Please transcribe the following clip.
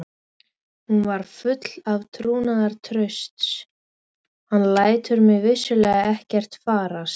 Hún var full trúnaðartrausts: hann lætur mig vissulega ekki farast.